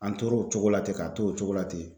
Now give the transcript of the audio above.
An tor'o cogo la ten ka t'o cogo la ten